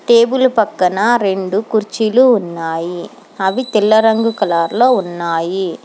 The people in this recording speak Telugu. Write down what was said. టేబుల్ పక్కన రెండు కుర్చీలు ఉన్నాయి అవి తెల్ల రంగు కలర్ లో ఉన్నాయి.